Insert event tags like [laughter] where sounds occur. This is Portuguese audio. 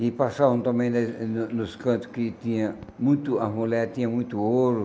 E passavam também [unintelligible] no nos cantos que tinha muito... A mulher tinha muito ouro.